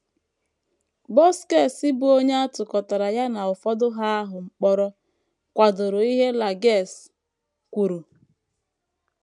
Buskes,, bụ́ onye a tụkọtara ya na ụfọdụ Ha ahụ mkpọrọ, kwadoro ihe Lages kwuru.